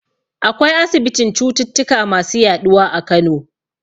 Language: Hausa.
Akwai asibitin cututtuka masu yaɗuwa a Kano.